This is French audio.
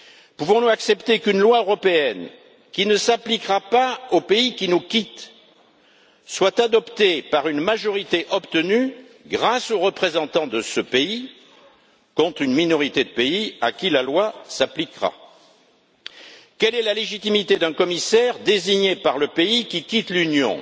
Pouvons nous accepter qu'une loi européenne, qui ne s'appliquera pas au pays qui nous quitte, soit adoptée par une majorité obtenue grâce aux représentants de ce pays contre une minorité de pays à qui la loi s'appliquera? Quelle est la légitimité d'un commissaire désigné par le pays qui quitte l'Union?